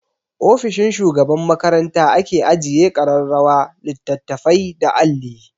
Ofishin shugaban makaranta ake ajiye ƙararrawa, littattafai da alli.